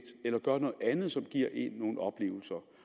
eller gøre noget andet som giver en nogle oplevelser